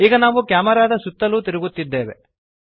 ಈಗ ನಾವು ಕ್ಯಾಮೆರಾದ ಸುತ್ತಲೂ ತಿರುಗುತ್ತಿದ್ದೇವೆ